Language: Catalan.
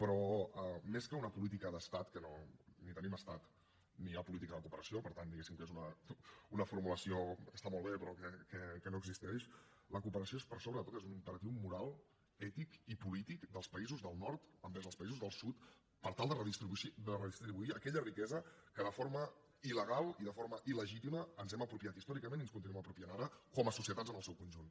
però més que una política d’estat que ni tenim estat ni hi ha política de cooperació per tant diguéssim que és una formulació que està molt bé però que no existeix la cooperació és per sobre de tot un imperatiu moral ètic i polític dels països del nord envers els països del sud per tal de redistribuir aquella riquesa que de forma il·legal i de forma ilnuem apropiant ara com a societats en el seu conjunt